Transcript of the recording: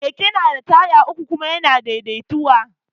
Keke na da taya uku kuma ya na daidaituwa